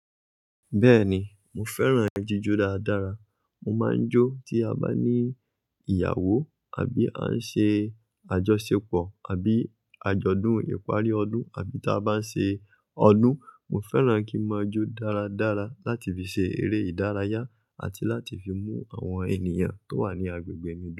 Bẹ́ẹ̀ni, mo fẹ́ràn ẹyin jíjó dáadára. Mo máa ń jó tí a bá ní ìyàwó àbí a ń ṣe àjọṣepọ̀ àbí àjọ̀dún ìparí ọdún àbí tí a bá ń ṣe ọdún. Mo fẹ́ràn kí n máa jó dáradára láti fi ṣe eré ìdárayá àti láti fi mú àwọn ènìyàn tó wà ní agbègbè mi dúró.